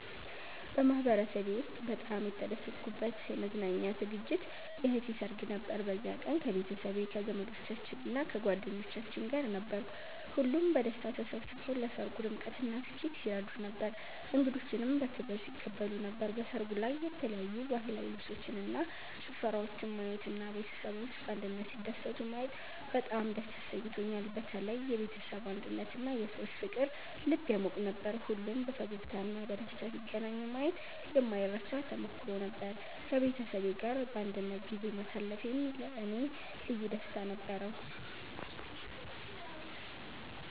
በማህበረሰቤ ውስጥ በጣም የተደሰትኩበት የመዝናኛ ዝግጅት የእህቴ ሰርግ ነበር። በዚያ ቀን ከቤተሰቤ፣ ከዘመዶቻችን እና ከጓደኞቻችን ጋር ነበርኩ። ሁሉም በደስታ ተሰብስበው ለሰርጉ ድምቀትና ስኬት ሲረዱን ነበር፣ እንግዶችንም በክብር ሲቀበሉ ነበር። በሰርጉ ላይ የተለያዩ ባህላዊ ልብሶችን እና ጭፈራወችን ማየት እና ቤተሰቦች በአንድነት ሲደሰቱ ማየት በጣም ደስ አሰኝቶኛል። በተለይ የቤተሰብ አንድነትና የሰዎች ፍቅር ልብ ያሟቅ ነበር። ሁሉም በፈገግታ እና በደስታ ሲገናኙ ማየት የማይረሳ ተሞክሮ ነበር። ከቤተሰቤ ጋር በአንድነት ጊዜ ማሳለፌም ለእኔ ልዩ ደስታ ነበረው።